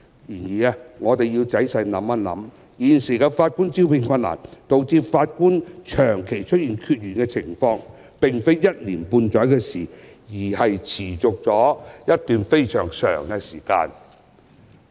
然而，我們只要仔細想想，便會意識到現時的法官招聘困難，導致法官長期出現缺員的情況，並非一年半載的事情，而是持續了一段非常長的時間。